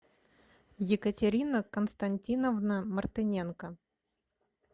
екатерина константиновна мартыненко